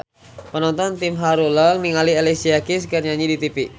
Panonton ting haruleng ningali Alicia Keys keur nyanyi di tipi